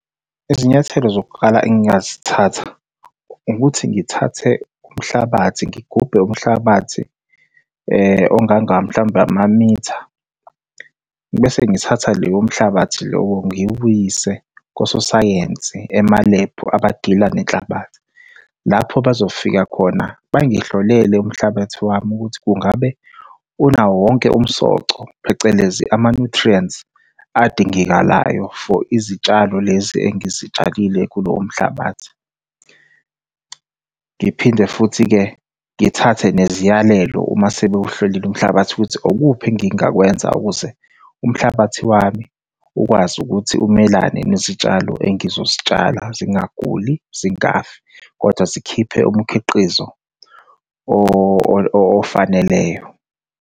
Izinyathelo zokuqala engingazithatha, ukuthi ngithathe umhlabathi ngigubhe umhlabathi onganga mhlawumbe amamitha, bese ngithatha leyo mhlabathi lowo ngiwuyise kososayensi emalebhu abadila nenhlabathi. Lapho bazofika khona bangihlolele umhlabathi wami ukuthi kungabe unawo wonke umsoco phecelezi ama-nutrients adingekalayo for izitshalo lezi engizitshalile kulowo mhlabathi. Ngiphinde futhi-ke ngithathe neziyalelo uma sebewuhlolile umhlabathi ukuthi okuphi engingakwenza ukuze umhlabathi wami ukwazi ukuthi umelane nezitshalo engizozitshala zingaguli zingafi, kodwa zikhiphe umkhiqizo ofaneleyo.